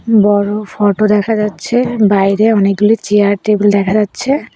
বড় ফোটো দেখা যাচ্ছে বাইরে অনেকগুলি চেয়ার টেবিল দেখা যাচ্ছে।